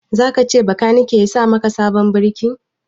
Za ka ce makaniki ya sa maka sabon birki?